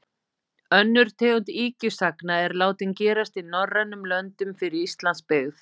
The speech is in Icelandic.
Önnur tegund ýkjusagna er látin gerast í norrænum löndum fyrir Íslands byggð.